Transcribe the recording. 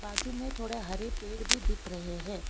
बाजू में थोड़े हरे पेड़ भी दिख रहे हैं।